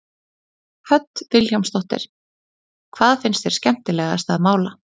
Hödd Vilhjálmsdóttir: Hvað finnst þér skemmtilegast að mála?